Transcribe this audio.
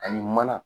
Ani mana